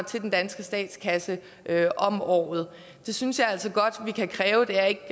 til den danske statskasse om året det synes jeg altså godt vi kan kræve det er ikke